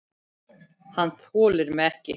Hann þolir mig ekki.